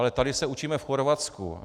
Ale tady se učíme v Chorvatsku.